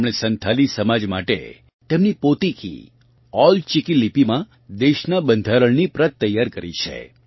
તેમણે સંથાલી સમાજ માટે તેમની પોતીકી ઓલ ચિકી લિપિમાં દેશનાં બંધારણની પ્રત તૈયાર કરી છે